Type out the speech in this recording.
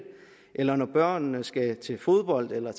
eller når børnene skal til fodbold eller